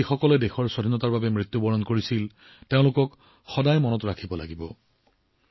যিসকলে দেশৰ স্বাধীনতাৰ বাবে মৃত্যুবৰণ কৰিছিল তেওঁলোকক সদায় মনত ৰাখিব লাগিব